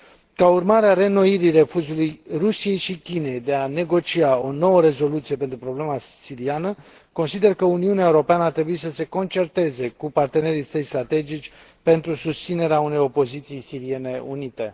Ca urmare a reînnoirii refuzului Rusiei și Chinei de a negocia o nouă rezoluție pentru problema siriană, consider că Uniunea Europeană ar trebui să se concerteze cu partenerii săi strategici pentru susținerea unei opoziții siriene unite.